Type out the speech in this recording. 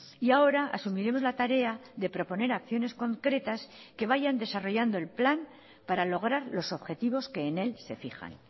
y ahora asumiremos la tarea de proponer acciones concretas que vayan desarrollando el plan para lograr los objetivos que en él se fijan